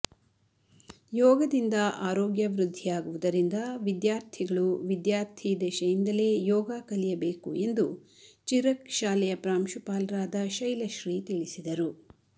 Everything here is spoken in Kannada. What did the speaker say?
ಯೋಗದಿಂದ ಆರೋಗ್ಯ ವೃದ್ದಿಯಾಗುವುದರಿಂದ ವಿದ್ಯಾರ್ಥಿಗಳು ವಿದ್ಯಾರ್ಥಿ ದೆಶೆಯಿಂದಲೇ ಯೋಗ ಕಲಿಯಬೇಕು ಎಂದು ಚಿರಕ್ ಶಾಲೆಯ ಪ್ರಾಂಶುಪಾಲರಾದ ಶೈಲಶ್ರೀ ತಿಳಿಸಿದರು